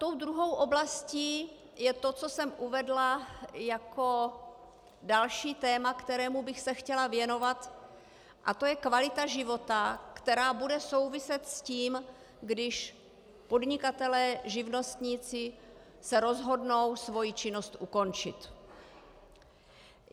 Tou druhou oblastí je to, co jsem uvedla jako další téma, kterému bych se chtěla věnovat, a to je kvalita života, která bude souviset s tím, když podnikatelé, živnostníci se rozhodnou svoji činnost ukončit.